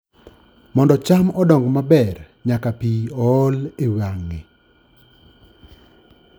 Mondo cham odongi maber, nyaka pi ool e wang'e.